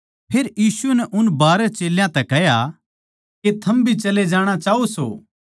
फेर यीशु नै उन बारहां चेल्यां तै कह्या के थम भी चले जाणां चाहो सो